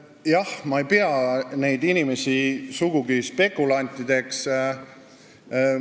Jah, ma ei pea neid inimesi sugugi spekulantideks.